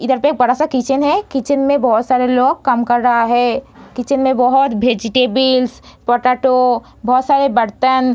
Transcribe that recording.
इधर पे बड़ा सा किचन है। किचन में बहुत सारे लोग काम कर रहा है। किचन में बहुत वेजिटेबल पोटैटो बहुत सारे बर्तन --